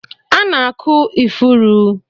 A na-akụ ifuru